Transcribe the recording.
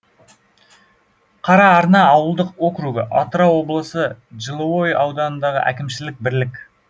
қараарна ауылдық округі атырау облысы жылыой ауданындағы әкімшілік бірлік